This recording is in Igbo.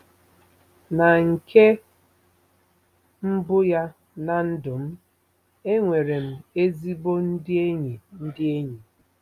Na nke mbụ ya ná ndụ m, enwere m ezigbo ndị enyi ndị enyi.